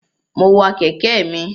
Mo wa kẹ̀kẹ́ mi.